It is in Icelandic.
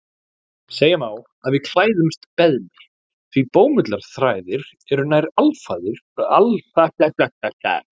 Segja má að við klæðumst beðmi því bómullarþræðir eru nær alfarið úr beðmi.